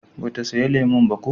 ba ta saya lemun ba ko?